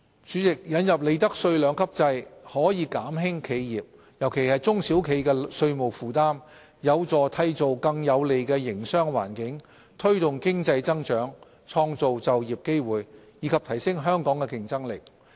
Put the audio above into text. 主席，引入利得稅兩級制可減輕企業——尤其是中小企——的稅務負擔，有助締造更有利的營商環境，推動經濟增長，創造就業機會，以及提升香港的競爭力。